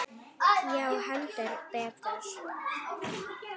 Já, heldur betur!